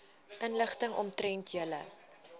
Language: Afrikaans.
inligting omtrent julle